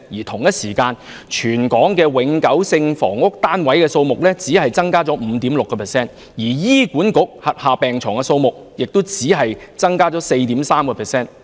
同一時間，全港永久性房屋單位數目只增加了 5.6%， 而醫管局轄下病床數目則只增加了 4.3%。